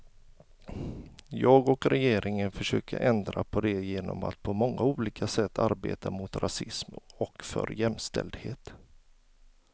Jag och regeringen försöker ändra på det genom att på många olika sätt arbeta mot rasism och för jämställdhet.